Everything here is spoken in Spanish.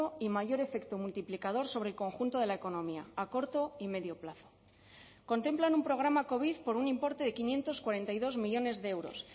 y mayor efecto multiplicador sobre el conjunto de la economía a corto y medio plazo contemplan un programa covid por un importe de quinientos cuarenta y dos millónes de euros